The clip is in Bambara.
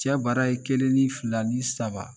Cɛ bɛrɛ aye kelen ni fila ni saba